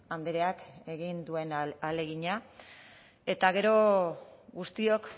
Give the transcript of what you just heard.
andreak egin duen ahalegina eta gero guztiok